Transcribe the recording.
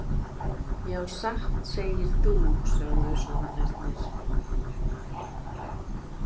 Já satt segir þú, sögðu svanirnir.